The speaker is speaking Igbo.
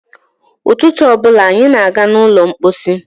Ụtụtụ ọ bụla anyị na-aga n'ụlọ mkpọsi.